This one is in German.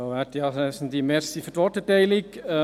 Danke für die Worterteilung.